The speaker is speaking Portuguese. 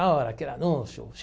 Ah era aquele anúncio.